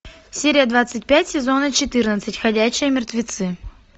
серия двадцать пять сезона четырнадцать ходячие мертвецы